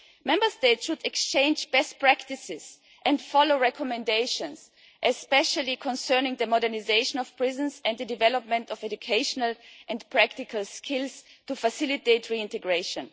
Member States should exchange best practices and follow recommendations, especially concerning the modernisation of prisons and the development of educational and practical skills to facilitate reintegration.